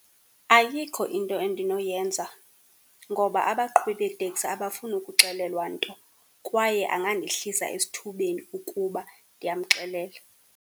Ayikho into endinoyenza ngoba abaqhubi beeteksi abafuni kuxelelwa nto, kwaye angandehlisa esithubeni ukuba ndiyamxelela.